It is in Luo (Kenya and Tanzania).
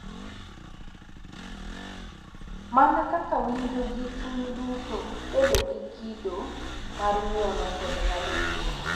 Mana kaka winjo gi chuny duto, bedo gi kido mar ng’uono, kod ng’ado bura.